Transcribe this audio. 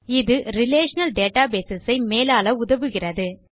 இது relational database ஐ மேலாள உதவுகிறது